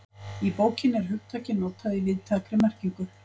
Í bókinni er hugtakið notað í víðtækri merkingu.